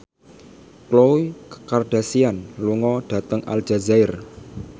Khloe Kardashian lunga dhateng Aljazair